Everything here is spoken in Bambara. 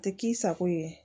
A tɛ k'i sago ye